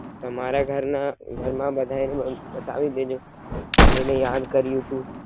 તમારા ઘરના, ઘર માં બધાય ને બતાવી દેજો મેં એને યાદ કર્યું તું.